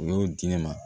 U y'o di ne ma